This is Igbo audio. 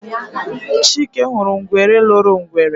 Chike huru ngwere loro ngwere.